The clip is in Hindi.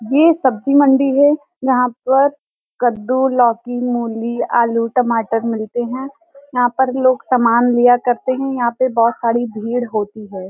ये सब्जी मंडी है यहां पर कद्दूलौकीमूली आलूटमाटर मिलते हैं | यहां पर लोग सामान लिया करते हैं | यहां पर बहुत साड़ी भीड़ होती है |